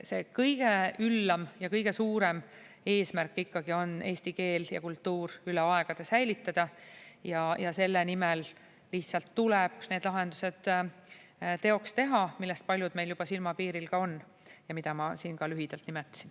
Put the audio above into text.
Kõige üllam ja kõige suurem eesmärk on ikkagi eesti keel ja kultuur üle aegade säilitada ja selle nimel lihtsalt tuleb teoks teha need lahendused, millest paljud meil juba silmapiiril on ja mida ma siin ka lühidalt nimetasin.